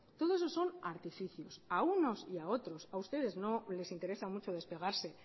todo eso son artificios a unos y a otros a ustedes no les interesa mucho despegarse